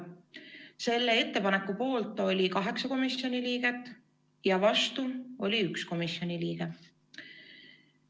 Selle ettepaneku poolt oli 8 komisjoni liiget ja vastu oli 1 komisjoni liige.